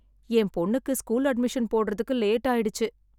என் பொண்ணுக்கு school admission போடுறதுக்கு late ஆயிடுச்சு.